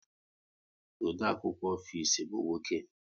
Odeakwụkwọ ofisi bụ nwoke